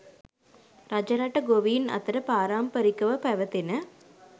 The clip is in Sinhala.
රජරට ගොවීන් අතර පාරම්පරිකව පැවැතෙන